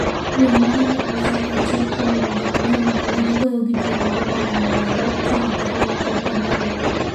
Wuon mare ne otho e achiel kuom lwenje mang'eny ma ne gigoyo gi jirendegi ma ne ni Nandi, ka Magere ne pod en rawera.